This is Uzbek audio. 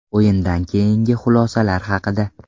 O‘yindan keyingi xulosalar haqida.